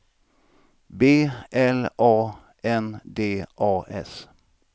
B L A N D A S